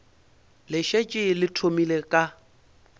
le šetše le thomile ka